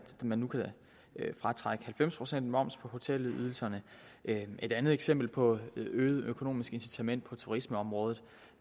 man nu kan fratrække halvtreds procent moms på hotelydelserne et andet eksempel på et øget økonomisk incitament på turismeområdet